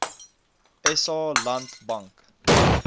sa land bank